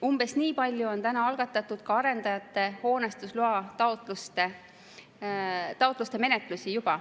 Umbes nii palju on juba algatatud ka arendajate hoonestusloataotluste menetlusi.